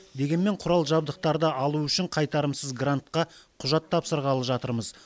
дегенмен құрал жабдықтарды алу үшін қайтарымсыз грантқа құжат тапсырғалы жатырмыз